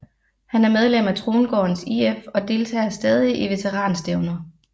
Han er medlem af Trongårdens IF og deltager stadig i veteran stævner